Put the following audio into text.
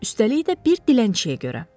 Üstəlik də bir dilənçiyə görə.